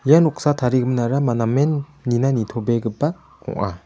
ia noksa tarigiminara-ma-namen nina nitobegipa ong·a.